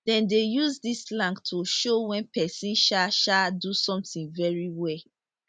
dem dey use dis slang to show wen pesin um um do something very well